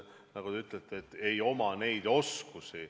Nagu te ütlete: ei oma neid oskusi.